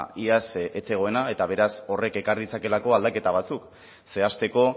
iaz ez zegoena eta beraz horrek ekar ditzakeelako aldaketa batzuk zehazteko